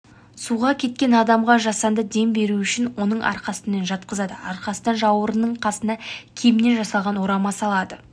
суға кеткен адамға жасанды дем беруүшін оны арқасымен жатқызады арқасына жауырынның қасына киімнен жасалған орама салады